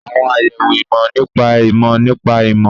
Àwọn àyẹ̀wò ìmọ̀ nípa ìmọ̀ nípa ìmọ̀